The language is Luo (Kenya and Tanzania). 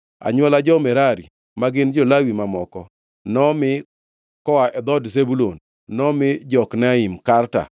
Anywola jo-Merari (ma gin jo-Lawi mamoko) nomi: Koa e dhood Zebulun nomi: Jokneam, Karta,